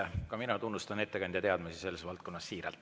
Ka mina siiralt tunnustan ettekandja teadmisi selles valdkonnas.